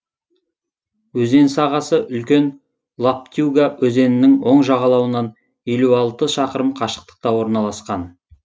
өзен сағасы үлкен лоптюга өзенінің оң жағалауынан елу алты шақырым қашықтықта орналасқан